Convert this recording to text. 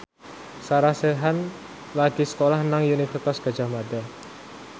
Sarah Sechan lagi sekolah nang Universitas Gadjah Mada